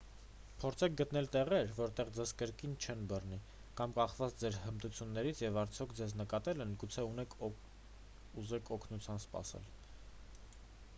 փորձեք գտնել տեղեր որտեղ ձեզ կրկին չեն բռնի կամ կախված ձեր հմտություններից և արդյոք ձեզ նկատել են գուցե ուզեք օգնություն սպասել